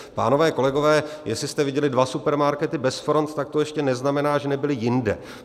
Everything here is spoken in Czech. Pánové, kolegové, jestli jste viděli dva supermarkety bez front, tak to ještě neznamená, že nebyly jinde.